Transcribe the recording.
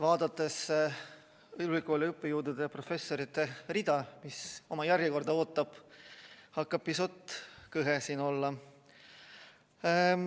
Vaadates ülikooli õppejõudude, professorite rida, kes oma järjekorda ootavad, hakkab pisut kõhe siin olla.